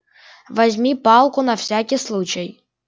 возьми палку на всякий случай